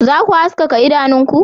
Za ku haskaka idanunku